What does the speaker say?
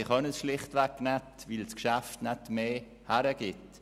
Sie können es schlicht nicht, weil das Geschäft nicht mehr hergibt.